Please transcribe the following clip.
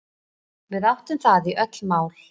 Við átum það í öll mál.